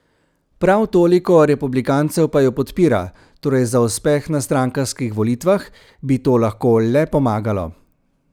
Prav toliko republikancev pa jo podpira, torej za uspeh na strankarskih volitvah bi to lahko le pomagalo.